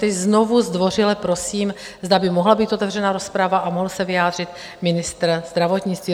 Tedy znovu zdvořile prosím, zda by mohla být otevřená rozprava a mohl se vyjádřit ministr zdravotnictví.